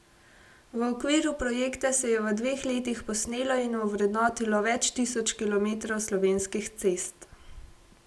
V okviru projekta se je v dveh letih posnelo in ovrednotilo več tisoč kilometrov Slovenskih cest.